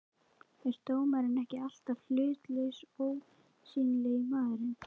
er dómarinn ekki alltaf hlutlausi, ósýnilegi maðurinn?